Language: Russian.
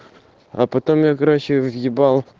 а потом я короче въебал